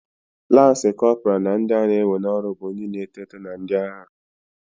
Lansi Kopra na ndị a na-ewe n'ọrụ bụ ndị na-eto eto na ndị agha.